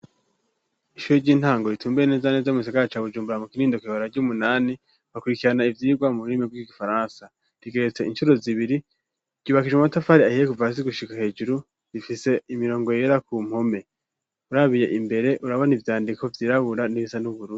Ishure ry'intango ritumbeye neza neza mu gisagara ca Bujumbura, mu Kinindo kw'ibarabara ry'umunani, bakurikirana ivyirwa mu rurimi rw'i gifaransa, rigeretse incuro zibiri, ryubakishijwe amatafari ahiye kuva hasi gushika hejuru, rifise imirongo yera ku mpome, urabiye imbere urabona ivyandiko vyirabura n'ibisa n'ubururu.